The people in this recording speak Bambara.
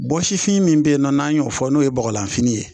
Bɔsifin min bɛ yen nɔ n'a y'o fɔ, n'o ye bɔgɔlanfini ye.